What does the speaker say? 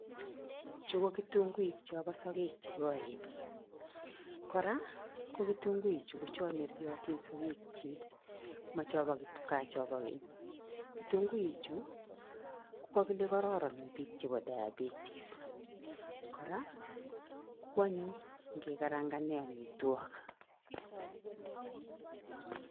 Chuu ko kitunguik chapo sokek chekoen, Kora kokitunguichu kocho neriotin sokekyik mo chopokipkaa chapo keny, kitunguichu kokokile kororon en biik chepo Diabetis kora kwonyiny ngekaranganen amitwokik